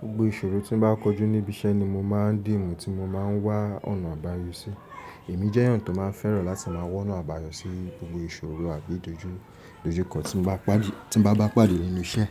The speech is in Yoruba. Gbogbo ìṣòro tí bá kọjú níbi iṣẹ́ ni mo máa ń dì mú tí mo máa ń wá ọ̀nà àbáyọ sí. Èmi jẹ́ èèyàn tó máa ń fẹ́ràn láti máa wóná àbáyọ sí gbogbo ìṣòro àbí dojú, dojú kọ tí bá bá pàdé nínú iṣẹ́.